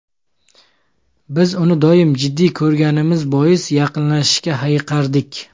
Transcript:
Biz uni doim jiddiy ko‘rganimiz bois, yaqinlashishga hayiqardik.